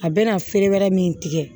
A bɛna feere wɛrɛ min tigɛ